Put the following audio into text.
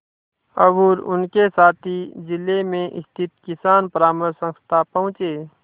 और उनके साथी जिले में स्थित किसान परामर्श संस्था पहुँचे